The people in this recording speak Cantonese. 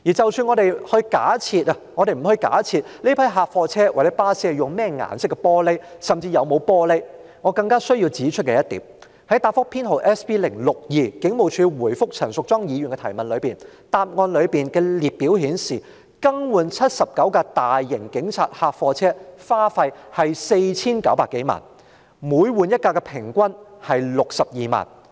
即使我們不假設這批警察客貨車或機動部隊巴士用甚麼顏色的玻璃為車窗，甚或有沒有玻璃車窗，我更需要指出的一點是，在答覆編號 SB062， 警務處回覆陳淑莊議員質詢的答覆中的列表顯示，更換79輛大型警察客貨車的支出是 4,900 多萬元，即更換一輛車的平均支出是62萬元。